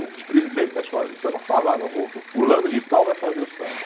O presidente da escola de samba falava, o fulano de tal vai fazer o samba.